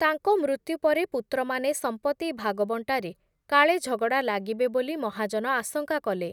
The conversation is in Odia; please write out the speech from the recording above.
ତାଙ୍କ ମୃତ୍ୟୁପରେ ପୁତ୍ରମାନେ ସମ୍ପତ୍ତି ଭାଗବଂଟାରେ କାଳେ ଝଗଡ଼ା ଲାଗିବେ ବୋଲି ମହାଜନ ଆଶଙ୍କା କଲେ ।